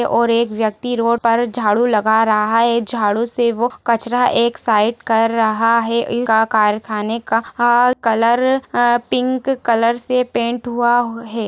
और एक व्यक्ति रोड पर झाड़ू लगा रहा है ये झाड़ू से वो कचड़ा एक साइड कर रहा है। कारखाने का कलर पिंक कलर से पैंट हुआ है|